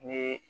Ni